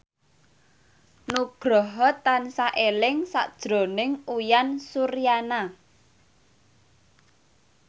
Nugroho tansah eling sakjroning Uyan Suryana